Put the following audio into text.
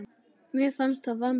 Mér fannst það vanta.